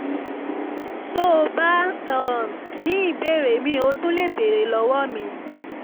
tó o bá um ní ìbéèrè míì o tún lè béèrè lọ́wọ́ mi